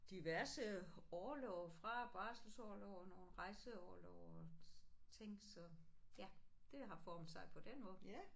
Diverse orlove fra barselsorlov og nogle rejseorlove og ting så ja det har formet sig på den måde